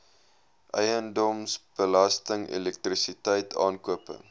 eiendomsbelasting elektrisiteit aankope